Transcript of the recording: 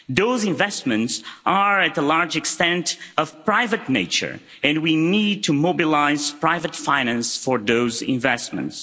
Those investments are to a large extent of private nature, and we need to mobilise private finance for those investments.